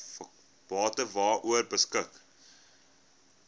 bate waaroor beskik